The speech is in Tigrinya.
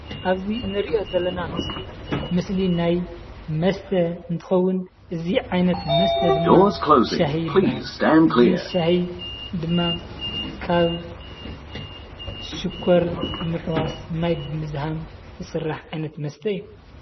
ኣብ እዚ ንርኦ ዘለና ምስሊ ናይ መስተ እንትከውን እዚ ዓይነት መስተ ድማ ሻሂ ይበሃል። እዚ ሻሂ ድማ ካብ ሽኮር ምሕዋስ ማይ ብምዝሃም ዝስራሕ ዓይነት መስተ እዩ።